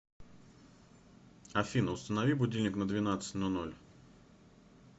афина установи будильник на двенадцать но ноль